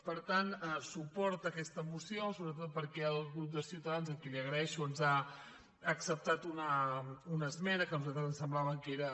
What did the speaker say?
per tant suport a aquesta moció sobretot perquè el grup de ciutadans a qui li ho agraeixo ens ha accep·tat una esmena que a nosaltres ens semblava que era